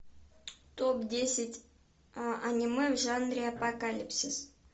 топ десять аниме в жанре апокалипсис